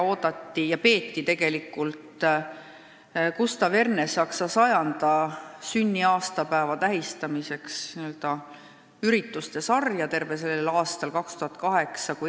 Tervel sellel 2008. aastal toimus ürituste sari Gustav Ernesaksa sajanda sünniaastapäeva tähistamiseks.